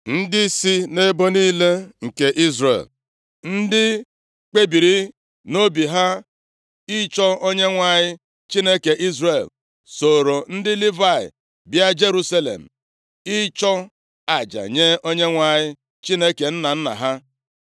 Ndị si nʼebo niile nke Izrel, ndị kpebiri nʼobi ha ịchọ Onyenwe anyị, Chineke Izrel sooro ndị Livayị bịa Jerusalem ịchụ aja nye Onyenwe anyị Chineke nna nna ha.